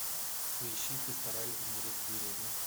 поищи пастораль умереть в деревне